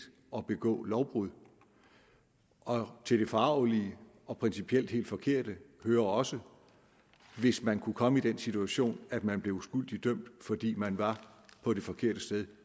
og begå lovbrud og til det forargelige og principielt helt forkerte hører også hvis man kunne komme i den situation at man blev uskyldigt dømt fordi man var på det forkerte sted